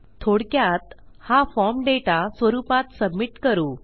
थोडक्यात हा form data स्वरूपात सबमिट करू